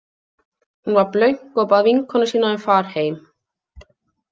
Hún var blönk og bað vinkonu sína um far heim.